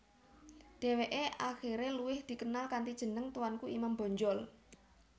Deweke akhire luwih dikenal kanthi jeneng Tuanku Imam Bonjol